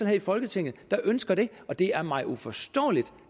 her i folketinget der ønsker det og det er mig uforståeligt